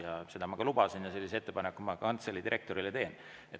Ja seda ma ka lubasin ja sellise ettepaneku ma kantselei direktorile teen.